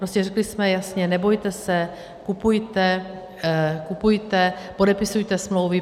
Prostě řekli jsme jasně: nebojte se, kupujte, kupujte, podepisujte smlouvy.